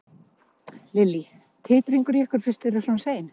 Lillý: Titringur í ykkur fyrst þið eruð svona sein?